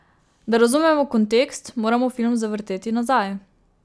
Da razumemo kontekst, moramo film zavrteti nazaj.